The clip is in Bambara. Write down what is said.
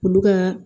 Olu ka